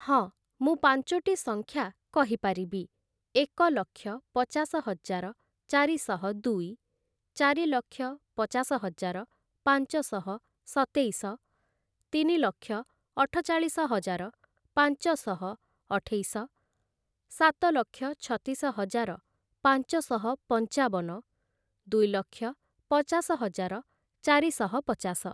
ହଁ, ମୁଁ ପାଞ୍ଚୋଟି ସଂଖ୍ୟା କହିପାରିବି, ଏକଲକ୍ଷ ପଚାଶହଜାର ଚାରିଶହ ଦୁଇ, ଚାରିଲକ୍ଷ ପଚାଶହଜାର ପାଞ୍ଚ ଶହ ସତେଇଶ, ତିନିଲକ୍ଷ ଅଠଚାଳିଶହଜାର ପାଞ୍ଚ ଶହ ଅଠେଇଶ, ସାତଲକ୍ଷ ଛତିଶହଜାର ପାଞ୍ଚ ଶହ ପଞ୍ଚାବନ, ଦୁଇଲକ୍ଷ ପଚାଶହଜାର ଚାରିଶହ ପଚାଶ ।